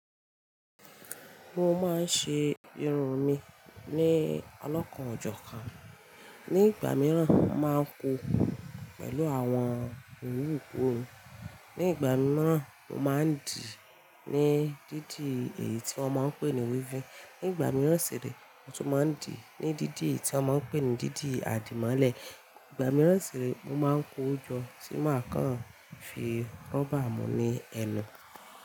Mo máa ń ṣe irun mi ní ọlọ́kàn, ọ̀jọ̀ kan. Ní ìgbà mìíràn, mo máa ń koo, pẹ̀lú àwọn owu ìkọrun. Ní ìgbà mìíràn, mo máa ń dì ní dídì eyi tí wọ́n ń pè ní weavin. Ní ìgbà mìíràn sì re, mo tún máa ń dì ní dídì tí wọ́n ń pè ní dídì àdìmọ́lẹ̀. Ìgbà mìíràn sì re, mo máa ń kojó tí màá kàn fi rúbà mú ní ẹnu.